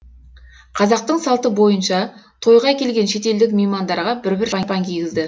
қазақтың салты бойынша тойға келген шетелдік меймандарға бір бір шапан кигізді